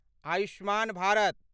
Ayushman Bharat